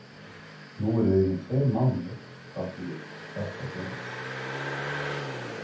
Nú eru liðnir tveir mánuðir frá því þetta gerðist.